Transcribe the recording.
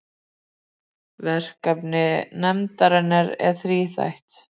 Verkefni nefndarinnar er þríþætt